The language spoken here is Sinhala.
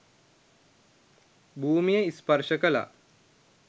භූමිය ස්පර්ශ කළා.